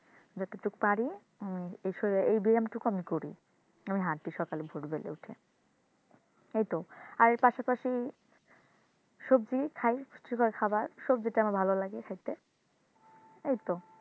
যতটুকু পারি এই শরীরের এই ব্যায়াম টুকু আমি করি। আমি হাঁটি সকালে ভোর বেলায় উঠে এইতো আর পাশাপাশি সবজি খাই পুষ্টিকর খাবার সবজিটা আমার ভালো লাগে খাইতে। এইতো